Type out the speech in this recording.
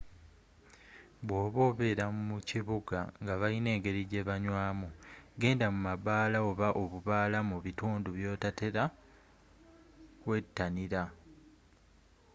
bwoba obeera mu kibuga ngabalina engeri gyebanywamu genda mu mabaala oba obubaala mu bitundu ebyetoolode byotatera kwettanira